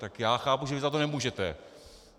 Tak já chápu, že vy za to nemůžete.